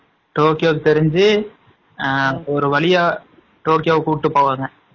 Tokyo தெரிஞ்சு ஒரு வழியா டோக்கியோ கூப்டு போவாங்க.